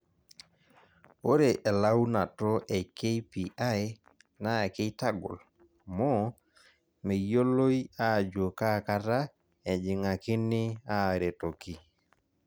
Ore elaunato e KPI naa keitagol, amu meyioloi ajo kaa kata ejing'akini aaretoki.